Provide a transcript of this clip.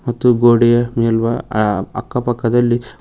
ಮತ್ತು ಗೋಡೆಯ ಮೇಲ್ವ ಅ ಅಕ್ಕಪಕ್ಕದಲ್ಲಿ--